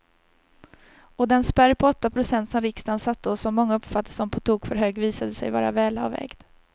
Och den spärr på åtta procent som riksdagen satte och som många uppfattade som på tok för hög visade sig vara välavvägd.